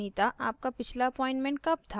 anita आपका पिछला appointment कब था